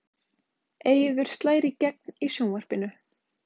Eiður slær í gegn í sjónvarpinu